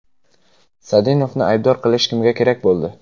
Sadinovni aybdor qilish kimga kerak bo‘ldi?